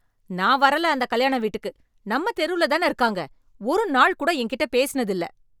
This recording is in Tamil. நான் வரல அந்தக் கல்யாண வீட்டுக்கு, நம்ம தெருல தான இருக்காங்க, ஒரு நாள் கூட என்கிட்ட பேசினது இல்ல.